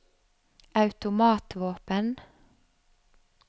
automatvåpen